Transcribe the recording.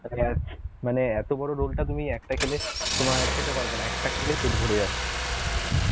মানে এত বড় উল্টা তুমি একটা খেলে তোমার খেতে পারবে না, একটা খেলেই পেট ভরে যাবে